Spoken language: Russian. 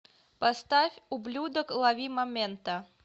поставь ублюдок ловимомента